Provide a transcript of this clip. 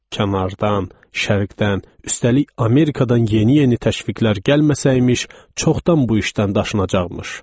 Kənardan, şərqdən, üstəlik Amerikadan yeni-yeni təşviqlər gəlməsəymiş, çoxdan bu işdən daşınacaqmış.